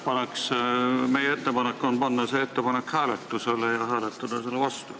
Meie ettepanek on panna see ettepanek hääletusele ja hääletada selle vastu.